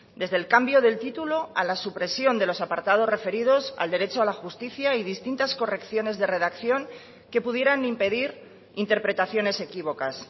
desde el cambio del título a la supresión de los apartados referidos al derecho a la justicia y distintas correcciones de redacción que pudieran impedir interpretaciones equívocas